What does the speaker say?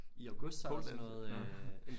I august så er der sådan noget øh